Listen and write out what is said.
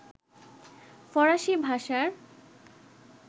ফরাসি ভাষার